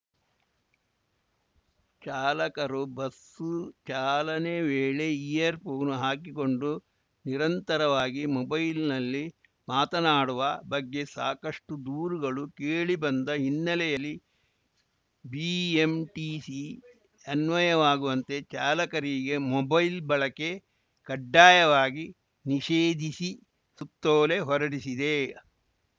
ಚಾಲಕರು ಬಸ್ಸು ಚಾಲನೆ ವೇಳೆ ಇಯರ್‌ ಫೋನ್‌ ಹಾಕಿಕೊಂಡು ನಿರಂತರವಾಗಿ ಮೊಬೈಲ್‌ನಲ್ಲಿ ಮಾತನಾಡುವ ಬಗ್ಗೆ ಸಾಕಷ್ಟುದೂರುಗಳು ಕೇಳಿ ಬಂದ ಹಿನ್ನೆಲೆಯಲ್ಲಿ ಬಿಎಂಟಿಸಿ ಅನ್ವಯವಾಗುವಂತೆ ಚಾಲಕರಿಗೆ ಮೊಬೈಲ್‌ ಬಳಕೆ ಕಡ್ಡಾಯವಾಗಿ ನಿಷೇಧಿಸಿ ಸುತ್ತೋಲೆ ಹೊರಡಿಸಿದೆ